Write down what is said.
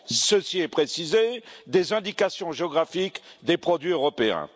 ceci est précisé des indications géographiques des produits européens.